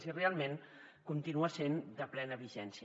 i realment continua sent de plena vigència